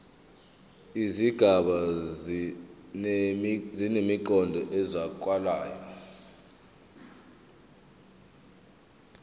izigaba zinemiqondo ezwakalayo